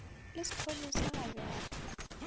le sephodisa bj bj ee